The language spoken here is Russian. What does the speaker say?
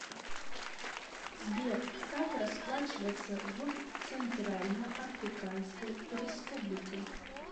сбер как расплачиваться в центральноафриканской республике